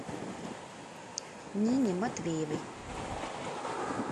нине матвеевой